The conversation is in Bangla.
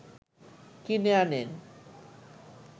কিনে আনেন